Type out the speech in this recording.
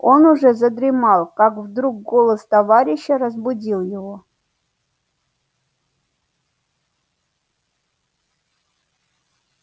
он уже задремал как вдруг голос товарища разбудил его